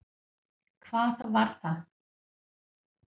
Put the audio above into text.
Hvað var það?